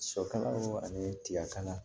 Sɔ kala ani tigakan